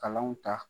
Kalanw ta